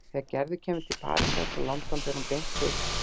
Þegar Gerður kemur til Parísar frá London fer hún beint til